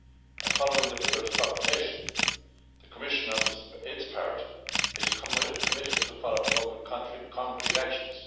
And following the pillar's proclamation, the Commission, for its part, is committed to following up with concrete actions.